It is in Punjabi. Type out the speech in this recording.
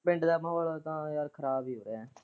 ਪਿੰਡ ਦਾ ਮਾਹੋਲ ਤਾਂ ਯਾਰ ਖਰਾਬ ਹੀ ਐ।